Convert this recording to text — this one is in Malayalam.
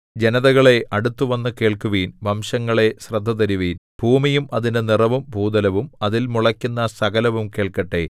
ജനതകളേ അടുത്തുവന്നു കേൾക്കുവിൻ വംശങ്ങളേ ശ്രദ്ധതരുവിൻ ഭൂമിയും അതിന്റെ നിറവും ഭൂതലവും അതിൽ മുളയ്ക്കുന്ന സകലവും കേൾക്കട്ടെ